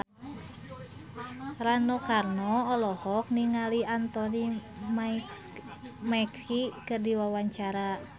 Rano Karno olohok ningali Anthony Mackie keur diwawancara